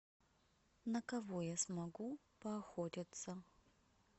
на кого я смогу поохотиться